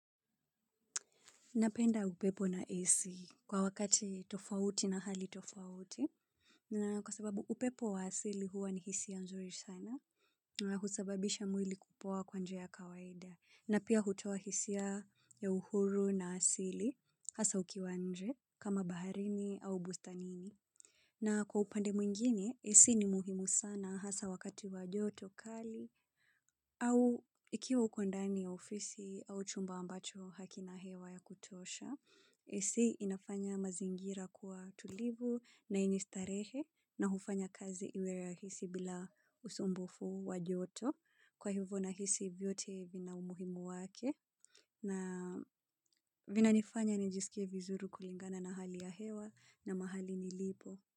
Napenda upepo na ac kwa wakati tofauti na hali tofauti. Na kwa sababu upepo wa asili huwa ni hisia ya nzuri sana. Na husababisha mwili kupoa kwa njia ya kawaida. Na pia hutoa hisia ya uhuru na asili. Hasa ikiwa nje kama baharini au bustanini. Na kwa upande mwingine ac ni muhimu sana hasa wakati wa joto kali. Au ikiwa uko ndani ya ofisi au chumba ambacho hakina hewa ya kutosha. Ac inafanya mazingira kuwa tulivu na yenye starehe na hufanya kazi iwe rahisi bila usumbufu wajoto kwa hivyo na hisi vyote vina umuhimu wake. Na vinanifanya nijisikie vizuri kulingana na hali ya hewa na mahali nilipo.